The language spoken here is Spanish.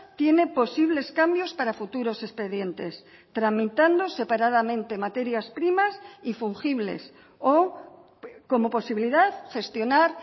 tiene posibles cambios para futuros expedientes tramitando separadamente materias primas y fungibles o como posibilidad gestionar